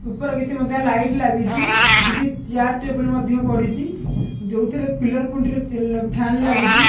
ଉପରେ କିଛି ମଧ୍ୟ ଲାଇଟ୍ ଲାଗିଚି କିଛି ଚିଆର ଟେବୁଲ୍ ମଧ୍ୟ ପଡ଼ିଚି ଯୋଉଥିରେ ପିଲର୍ ଖୁଣ୍ଟି ରେ ଚେ ଫ୍ୟାନ ଲାଗିଚି।